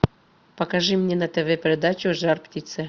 покажи мне на тв передачу жар птица